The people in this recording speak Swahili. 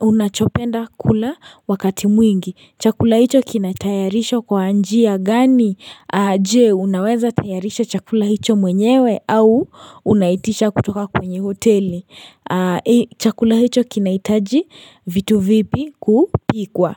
unachopenda kula wakati mwingi? Chakula hicho kinatayarishwa kwa njia gani? Je, unaweza tayarisha chakula hicho mwenyewe au unaitisha kutoka kwenye hoteli? Chakula hicho kinahitaji vitu vipi kupikwa?